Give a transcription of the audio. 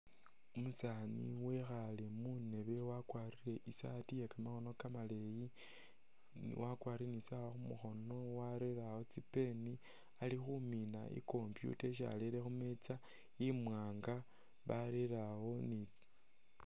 Umusaani wekhaale khundeebe wakwarile isaatii iye kamakhono kamaleeyi wakwarile isaawa khumukhono warere awo tsi'pen Ali khumiina i'computer isi arere khumeetsa imwaanga barere awo ni